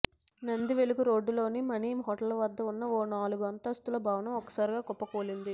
నందివెలుగు రోడ్డులోని మణి హోటల్ వద్ద ఉన్న ఓ నాలుగు అంతస్తుల భవనం ఒక్కసారిగా కుప్పకూలింది